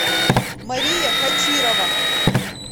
мария хачирова